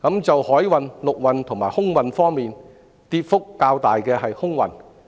在海運、陸運及空運方面，跌幅較大的是空運。